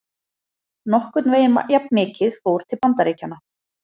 Nokkurn veginn jafnmikið fór til Bandaríkjanna.